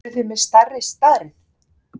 Eruð þið með stærri stærð?